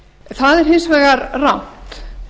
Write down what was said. það er hins vegar rangt